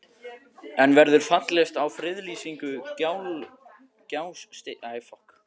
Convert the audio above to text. En verður fallist á friðlýsingu Gjástykkis?